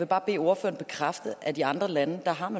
bare bede ordføreren bekræfte at man i andre lande